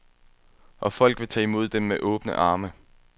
Og folk vil tage imod den med åbne arme.